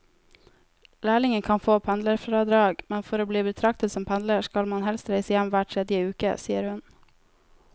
Lærlinger kan få pendlerfradrag, men for å bli betraktet som pendler skal man helst reise hjem hver tredje uke, sier hun.